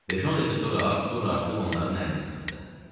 Beş-on dəqiqə sonra Artur artıq onların əlini sıxırdı.